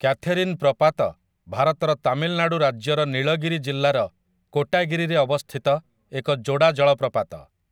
Catherine ପ୍ରପାତ ଭାରତର ତାମିଲନାଡ଼ୁ ରାଜ୍ୟର ନୀଳଗିରି ଜିଲ୍ଲାର କୋଟାଗିରିରେ ଅବସ୍ଥିତ ଏକ ଯୋଡ଼ା ଜଳପ୍ରପାତ ।